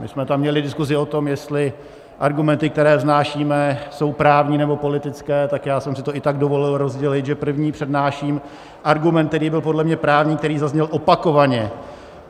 My jsme tam měli diskuzi o tom, jestli argumenty, které vznášíme, jsou právní, nebo politické, tak já jsem si to i tak dovolil rozdělit, že první přednáším argument, který byl podle mě právní, který zazněl opakovaně.